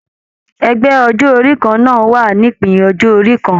Ẹgbẹ ọjọ orí kanna wà nípin ọjọ orí kàn.